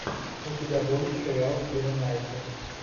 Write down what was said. у тебя будет сериал кира найтли